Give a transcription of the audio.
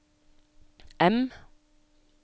M